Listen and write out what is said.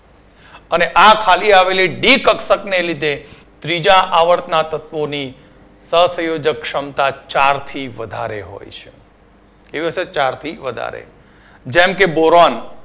અને આ ખાલી આવેલી ડી કક્ષક ને લીધે ત્રીજા આવર્તના તત્વોની સહસંયોજક ક્ષમતા ચાર થી વધારે હોય છે કેવી હોય છે ચાર થી વધારે જેમ કે boron